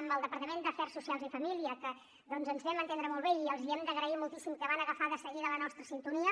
amb el departament d’afers socials i famílies doncs ens vam entendre molt bé i els hem d’agrair moltíssim que van agafar de seguida la nostra sintonia